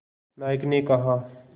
नायक ने कहा